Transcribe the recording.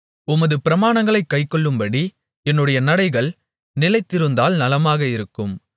உமது பிரமாணங்களைக் கைக்கொள்ளும்படி என்னுடைய நடைகள் நிலைத்திருந்தால் நலமாக இருக்கும்